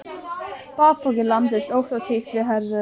Bakpokinn lamdist ótt og títt við herðarnar.